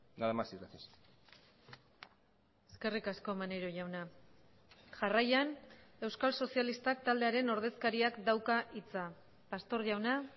nada más y gracias eskerrik asko maneiro jauna jarraian euskal sozialistak taldearen ordezkariak dauka hitza pastor jauna